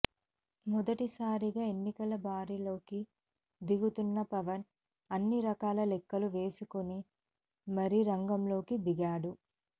మొదటిసారిగా ఎన్నికల బరిలోకి దిగుతున్న పవన్ అన్నిరకాల లెక్కలు వేసుకుని మరీ రంగంలోకి దిగాడు